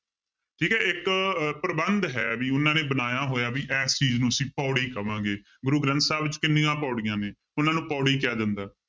ਠੀਕ ਹੈ ਇੱਕ ਪ੍ਰਬੰਧ ਹੈ ਵੀ ਉਹਨਾਂ ਨੇ ਬਣਾਇਆ ਹੋਇਆ ਵੀ ਇਸ ਚੀਜ਼ ਨੂੰ ਅਸੀਂ ਪਾਉੜੀ ਕਵਾਂਗੇ, ਗੁਰੂ ਗ੍ਰੰਥ ਸਾਹਿਬ ਵਿੱਚ ਕਿੰਨੀਆਂ ਪਾਉੜੀਆਂ ਨੇ ਉਹਨਾਂ ਨੂੰ ਪਾਉੜੀ ਕਿਹਾ ਜਾਂਦਾ।